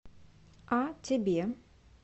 а тебе